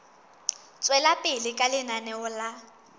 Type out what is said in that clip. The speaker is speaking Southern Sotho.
tswela pele ka lenaneo la